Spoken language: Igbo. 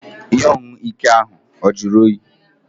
Ihe ọṅụṅụ ike ahụ ọ juru oyi?